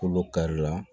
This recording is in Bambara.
Kolo kari la